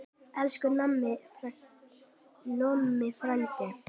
Elsku Nonni frændi.